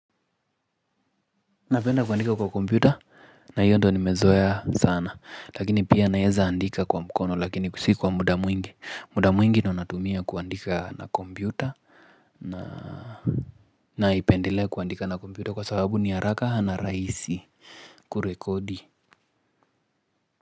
Napenda kuandika kwa kompyuta na hiyo ndo nimezoea sana lakini pia naeza andika kwa mkono lakini si kwa muda mwingi muda mwingi ndo natumia kuandika na kompyuta na naipendelea kuandika na kompyuta kwa sababu ni haraka na rahisi kurekodi.